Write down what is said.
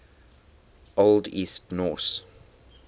old east norse